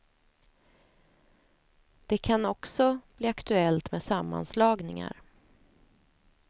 Det kan också bli aktuellt med sammanslagningar.